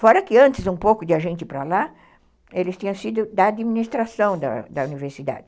Fora que antes, um pouco de a gente ir para lá, eles tinham sido da administração da da universidade.